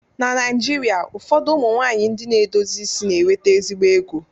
Na Naijirịa ụfọdụ ụmụ nwaanyị ndị na-edozi isi na-enweta ezigbo ego